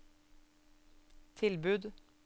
tilbud